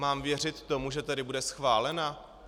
Mám věřit tomu, že tady bude schválena?